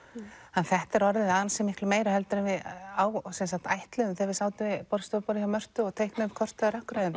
að þetta er orðið ansi miklu meira heldur en við ætluðum þegar við sátum við borðstofuborðið hjá Mörtu og teiknuðum kortið af